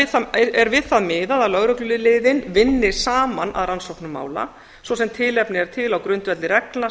upp er við það miðað að lögregluliðin vinni saman að rannsóknum mála svo sem tilefni er til á grundvelli reglna